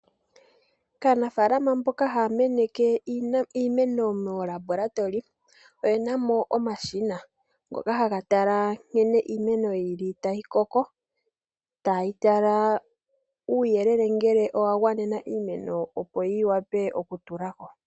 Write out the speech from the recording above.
Kaanafaalama mboka haya meneke iimeno moofaabulika oyena mo omashina ngoka haga tala nkene iimeno yili tayi koko tayi tala ngele uuyelele owa gwanena iimeno opo yi wape okutula ko.